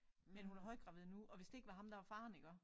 Men hun er højgravid nu og hvis det ikke var ham der var faren iggå